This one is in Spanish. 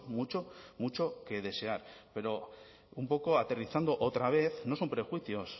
mucho mucho que desear pero un poco aterrizando otra vez no son prejuicios